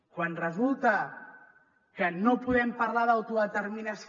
quan resulta que no podem parlar d’autodeterminació